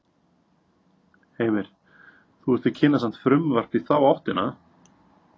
Heimir: Þú ert að kynna samt frumvarp í þá áttina?